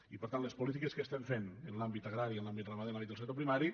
i per tant les polítiques que estem fent en l’àmbit agrari en l’àmbit ramader en l’àmbit del sector primari